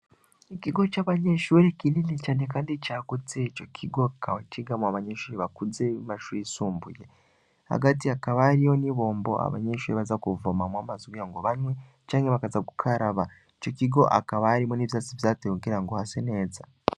Igigo c'abanyeshuri kinini cane, kandi caguze ico kigo akawa kigamu abanyenshuri bakuzebamashuri isumbuye hagati akabariyo ni bombo abanyenshuri baza guvomamwo amaze ugira ngo banywe canke bakaza gukaraba ico kigo akabarimo n'ivyatsi vyatewe kugira ngo hase neza.